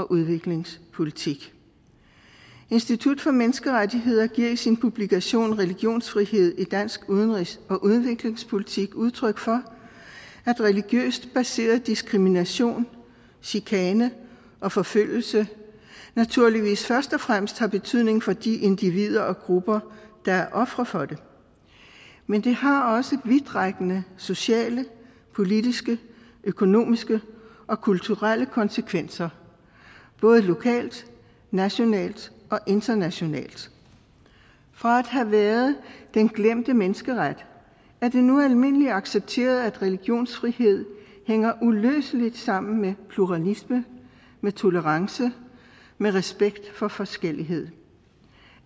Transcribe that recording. udviklingspolitik institut for menneskerettigheder giver i sin publikation religionsfrihed i dansk udenrigs og udviklingspolitik udtryk for at religiøst baseret diskrimination chikane og forfølgelse naturligvis først og fremmest har betydning for de individer og grupper der er ofre for det men det har også vidtrækkende sociale politiske økonomiske og kulturelle konsekvenser både lokalt nationalt og internationalt fra at have været den glemte menneskeret er det nu almindeligt accepteret at religionsfrihed hænger uløseligt sammen med pluralisme med tolerance med respekt for forskellighed